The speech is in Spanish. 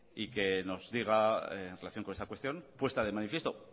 y que nos diga en relación con esta cuestión puesta de manifiesto